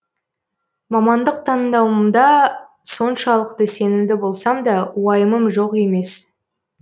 мамандық таңдауымда соншалықты сенімді болсам да уайымым жоқ емес